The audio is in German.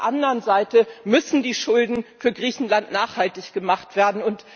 Auf der anderen Seite müssen die Schulden für Griechenland nachhaltig gemacht werden.